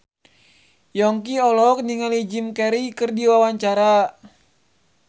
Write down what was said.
Yongki olohok ningali Jim Carey keur diwawancara